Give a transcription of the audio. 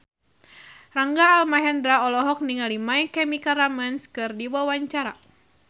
Rangga Almahendra olohok ningali My Chemical Romance keur diwawancara